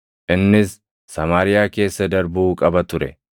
Innis Samaariyaa keessa darbuu qaba ture.